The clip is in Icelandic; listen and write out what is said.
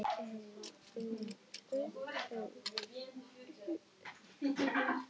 Afkomendur í beinan legg eru þessir